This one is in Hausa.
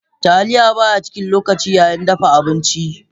Taliya baya cin lokaci yayin dafa abinci.